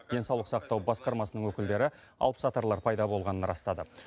денсаулық сақтау басқармасының өкілдері алыпсатарлар пайда болғанын растады